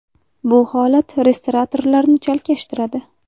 Bu holat restoratorlarni chalkashtiradi.